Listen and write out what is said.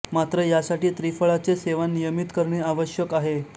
मात्र यासाठी त्रिफळाचे सेवन नियमित करणे आवश्यक आहे